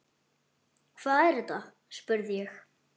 Hvað er þetta spurði ég.